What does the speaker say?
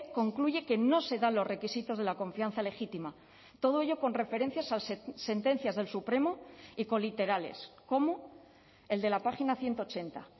concluye que no se dan los requisitos de la confianza legítima todo ello con referencias a sentencias del supremo y coliterales como el de la página ciento ochenta